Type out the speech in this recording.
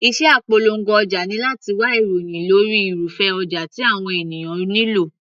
Iṣẹ́ apolongo ọjà ni láti wá ìròhìn lórí irúfẹ́ ọjà tí àwọn ènìyàn nílò.